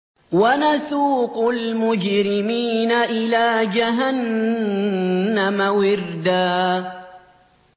وَنَسُوقُ الْمُجْرِمِينَ إِلَىٰ جَهَنَّمَ وِرْدًا